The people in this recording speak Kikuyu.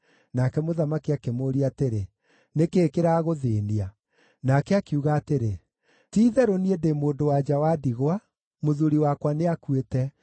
Nake mũthamaki akĩmũũria atĩrĩ, “Nĩ kĩĩ kĩragũthĩĩnia?” Nake akiuga atĩrĩ, “Ti-itherũ niĩ ndĩ mũndũ-wa-nja wa ndigwa; mũthuuri wakwa nĩakuĩte.